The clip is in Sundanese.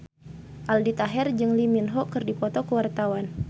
Aldi Taher jeung Lee Min Ho keur dipoto ku wartawan